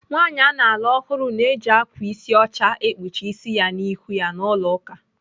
Nwaanyị ana alụ ọhụrụ na-eji ákwà ịsị ọcha ekpuchi ịsị ya na ihu ya n'ụlọ ụka.